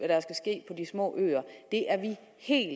små øer det er vi helt